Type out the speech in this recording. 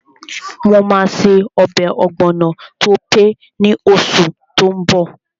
Mo máa ṣe ọbẹ̀ ọ̀gbọ̀nọ̀ tó pé ní oṣù tó n bọ̀